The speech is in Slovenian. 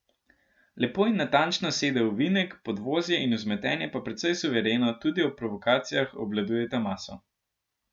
Lepo in natančno sede v ovinek, podvozje in vzmetenje pa precej suvereno, tudi ob provokacijah, obvladujeta maso.